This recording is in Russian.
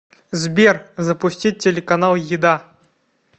сбер запустить телеканал еда